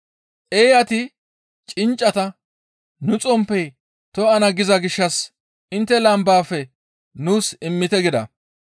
Eeyati cinccata, ‹Nu xomppey to7ana giza gishshas intte lambaafe nuus immite› gida.